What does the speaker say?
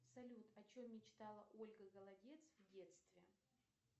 салют о чем мечтала ольга голодец в детстве